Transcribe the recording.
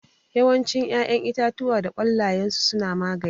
Yawancin ƴaƴan itatuwa da ƙwallayensu suna magani